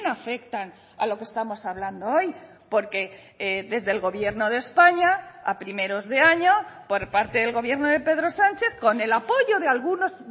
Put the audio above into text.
afectan a lo que estamos hablando hoy porque desde el gobierno de españa a primeros de año por parte del gobierno de pedro sánchez con el apoyo de algunos